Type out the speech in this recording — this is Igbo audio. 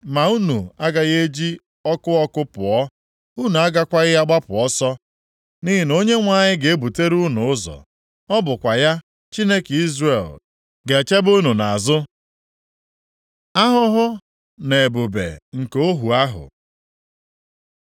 Ma unu agaghị eji ọkụ ọkụ pụọ, unu agakwaghị agbapụ ọsọ, nʼihi na Onyenwe anyị ga-ebutere unu ụzọ, ọ bụkwa ya, Chineke Izrel, ga-echebe unu nʼazụ. Ahụhụ na Ebube nke ohu ahụ